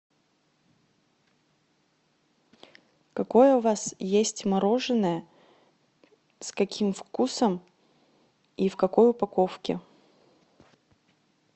какое у вас есть мороженое с каким вкусом и в какой упаковке